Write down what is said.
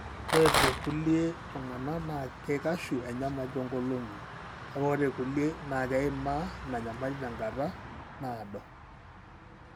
ore tekulie tungana na keikashu enyamali tongolongi, kake ore kulie na keima ina nyamali tenkata nadoo.